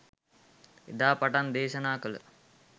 එදා පටන් දේශනා කළ